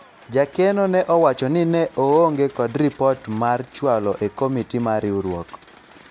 jakeno ne owacho ni ne oonge kod ripot mar chwalo e komiti mar riwruok